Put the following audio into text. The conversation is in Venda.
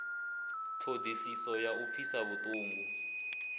ṱhodisiso ya u pfisa vhuṱungu